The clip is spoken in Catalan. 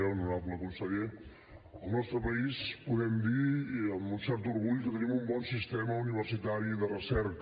honorable conseller al nostre país podem dir i amb un cert orgull que tenim un bon sistema universitari de recerca